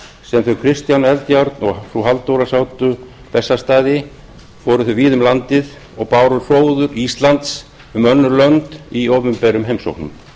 sem þau kristján eldjárn og frú halldóra sátu bessastaði fóru þau víða um landið og báru hróður íslands um önnur lönd í opinberum heimsóknum